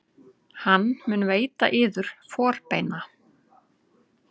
Hann mun veita yður forbeina.